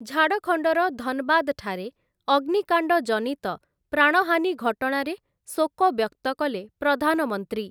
ଝାଡ଼ଖଣ୍ଡର ଧନବାଦ ଠାରେ ଅଗ୍ନିକାଣ୍ଡଜନିତ ପ୍ରାଣହାନୀ ଘଟଣାରେ ଶୋକ ବ୍ୟକ୍ତ କଲେ ପ୍ରଧାନମନ୍ତ୍ରୀ ।